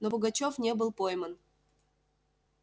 но пугачёв не был пойман